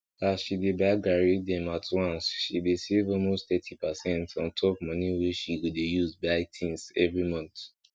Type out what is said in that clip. as she dey buy garri dem at once she dey save almost thirty pacent ontop moni wey she go dey use buy tins every month